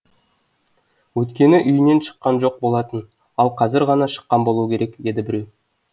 өйткені үйінен шыққан жоқ болатын ол қазір ғана шыққан болуы керек деді біреу